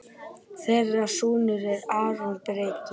Þeirra sonur er Aron Breki.